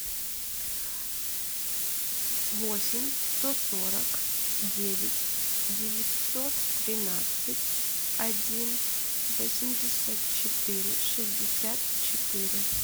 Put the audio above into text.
восемь сто сорок девять девятьсот тринадцать один восемьдесят четыре шестьдесят четыре